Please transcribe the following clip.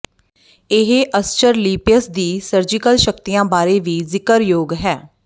ਇਹ ਅਸਚਰਲੀਪੀਅਸ ਦੀ ਸਰਜੀਕਲ ਸ਼ਕਤੀਆਂ ਬਾਰੇ ਵੀ ਜ਼ਿਕਰਯੋਗ ਹੈ